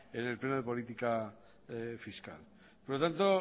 el pleno de política fiscal por lo tanto